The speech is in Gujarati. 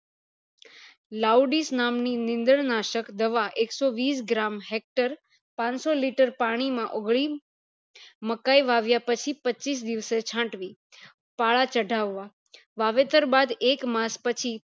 loudis નામ ની નીંદણ નાશક દવા એકસો વીસ gram hector પાંચસો liter પાણી માં ઓગળીણ મકાય વાવ્યા પછી પચીસ દિવસે છાટવી પાળા ચઢાવા વાવેતર બાદ એક માસ પછી